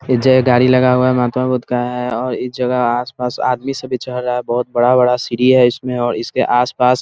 इस जगह गाड़ी लगा हुआ है महात्मा बुद्ध का है और इस जगह आस-पास आदमी सब भी चढ़ रहा है बहोत बड़ा-बड़ा सीढ़ी है इसमें और इसके आस पास --